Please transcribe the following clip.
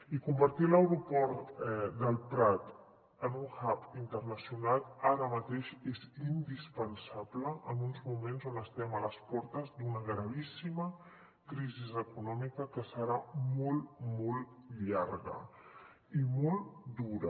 i convertir l’aeroport del prat en un hub internacional ara mateix és indispensable en uns moments on estem a les portes d’una gravíssima crisi econòmica que serà molt molt llarga i molt dura